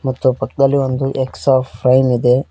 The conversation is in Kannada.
ಮತ್ತು ಪಕ್ದಲ್ಲಿ ಒಂದು ಎಕ್ಸಾ ಫೈಲ್ ಇದೆ.